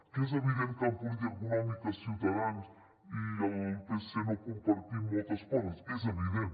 que és evident que en política econòmica ciutadans i el psc no compartim moltes coses és evident